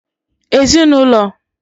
Ezinụlọ